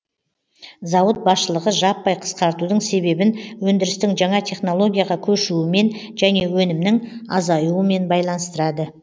зауыт басшылығы жаппай қысқартудың себебін өндірістің жаңа технологияға көшуімен және өнімнің азаюымен байланыстырады